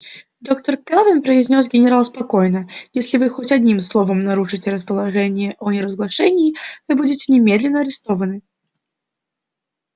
доктор кэлвин произнёс генерал спокойно если вы хоть одним словом нарушите распоряжения о неразглашении вы будете немедленно арестованы